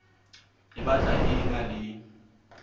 e batla e ena le